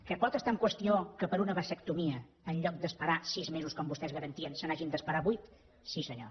que pot estar en qüestió que per a una vasectomia en lloc d’esperar sis mesos com vostès garantien se n’hagin d’esperar vuit sí senyor